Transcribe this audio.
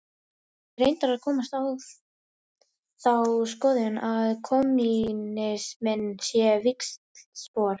Ég er reyndar að komast á þá skoðun að kommúnisminn sé víxlspor.